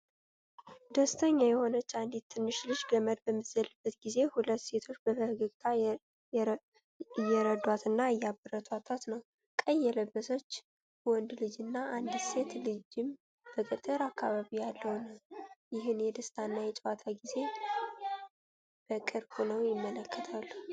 ደስተኛ የሆነች አንዲት ትንሽ ልጅ ገመድ በምትዘልበት ጊዜ ሁለት ሴቶች በፈገግታ እየረዷትና እያበረታቷት ነው። ቀይ የለበሰ ወንድ ልጅና አንዲት ሴት ልጅም በገጠር አካባቢ ያለውን ይህን የደስታና የጨዋታ ጊዜ በቅርብ ሆነው ይመለከታሉ።